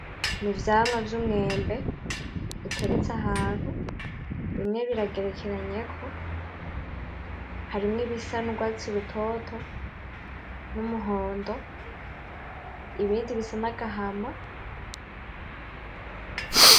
N'ivyamwa vy'umwembe biteretse ahantu, bimwe biragerekanyeko, harimwo ibisa n'urwatsi rutoto n'umuhondo ibindi bisa n'agahama.